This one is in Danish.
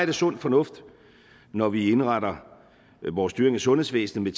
det sund fornuft når vi indretter vores styring af sundhedsvæsenet